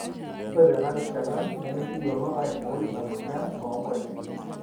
ore tena rishata nemikiyiolo aaibooi ina mweyian oonkonyek